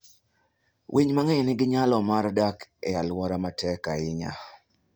Winy mang'eny nigi nyalo mar dak e alwora matek ahinya.